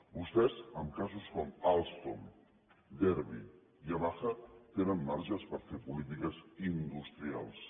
vostès en casos com alstom derbi i yamaha tenen marges per fer polítiques industrials